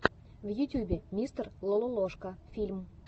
в ютюбе мистер лололошка фильм